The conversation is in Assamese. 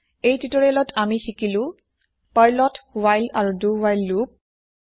এই তিউতৰিয়েলত আমি শিকিলো পাৰ্লত হোৱাইল আৰু দো হোৱাইল লোপ